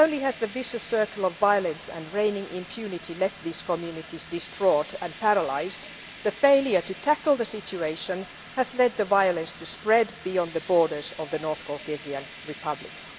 Not only has the vicious circle of violence and impunity left these communities distraught and paralysed, the failure to tackle the situation has led the violence to spread beyond the borders of the North Caucasian republics.